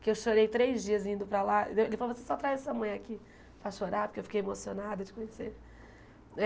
que eu chorei três dias indo para lá, ele falava, assim só traz a sua mãe aqui para chorar, porque eu fiquei emocionado de conhecer. Eh